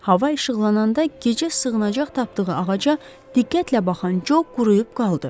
Hava işıqlananda gecə sığınacaq tapdığı ağaca diqqətlə baxan Co quruyub qaldı.